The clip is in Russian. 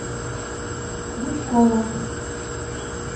жучкова